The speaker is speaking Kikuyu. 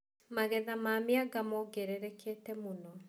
Magetha ma mĩanga mongererekete mũno.